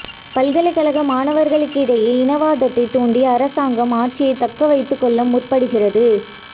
பல்கலைக்கழக மாணவர்களுக்கிடையே இனவாதத்தை தூண்டி அரசாங்கம் ஆட்சியை தக்கவைத்துக் கொள்ள முற்படுகிறது